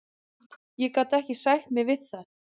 Ég gat ekki sætt mig við það.